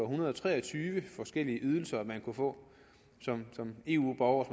hundrede og tre og tyve forskellige ydelser man kunne få som eu borger